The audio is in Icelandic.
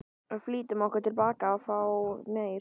Flýttum okkur tilbaka að fá meir.